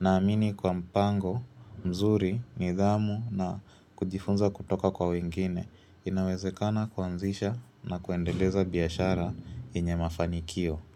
naamini kwa mpango, mzuri, nidhamu na kujifunza kutoka kwa wengine inawezekana kuanzisha na kuendeleza biashara yenye mafanikio.